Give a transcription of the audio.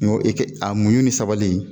N ko i ka a muɲu ni sabali